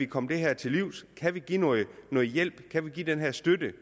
komme det her til livs kan vi give noget hjælp kan vi give den her støtte